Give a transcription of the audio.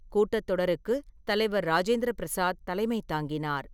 கூட்டத்தொடருக்கு தலைவர் ராஜேந்திர பிரசாத் தலைமை தாங்கினார்.